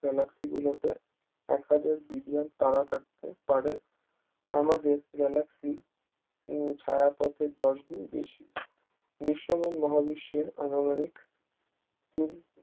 Galaxy গুলোতে এক হাজার billion তারা থাকে পারে আমাদের Galaxy ছায়াপথের দশ গুণ বেশি দৃশ্যমান মহাবিশ্বেরআনুমানিক উম